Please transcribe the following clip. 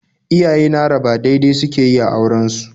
Iyaye na raba dai-dai suke yi a auren su